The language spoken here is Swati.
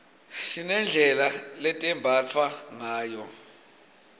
sinedlela letembatfwa ngayo